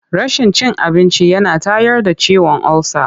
Rashin cin abinci yana tayar da ciwon olsa.